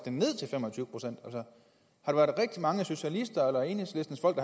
har der været rigtig mange socialister eller enhedslistens folk